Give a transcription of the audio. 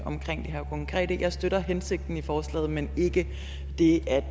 omkring det her konkrete jeg støtter hensigten i forslaget men ikke det at